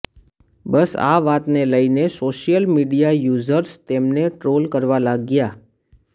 બસ આ વાત ને લઈને સોશિયલ મીડિયા યુઝર્સ તેમને ટ્રોલ કરવા લાગ્યા